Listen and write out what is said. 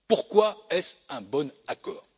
Pourquoi est ce un bon accord?